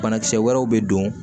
Banakisɛ wɛrɛw bɛ don